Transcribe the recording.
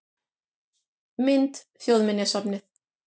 Mynd: Þjóðminjasafnið